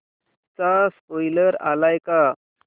चा स्पोईलर आलाय का